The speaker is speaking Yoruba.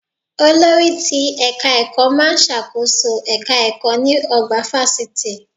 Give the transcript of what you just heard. Olórí ti ẹ̀ka ẹ̀kọ́ má a ń ṣàkóso èka ẹ̀kọ́ ní ọgbà fásitì